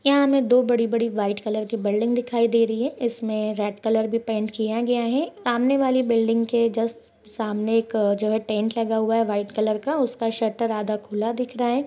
यहाँ हमें दो बड़ी -बड़ी व्हाइट कलर की बिल्डिंग दिखाई दे रही है इसमें रेड कलर भी पेंट किया गया है सामने वाले बिल्डिंग के जस्ट सामने एक जो है टेंट लगा हुआ है वाइट कलर का उसका शटर आधा खुला दिख रहा है।